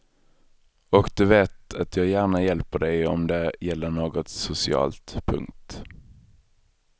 Och du vet att jag gärna hjälper dig om det gäller något socialt. punkt